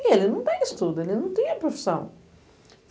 E ele não tem estudo, ele não tinha profissão.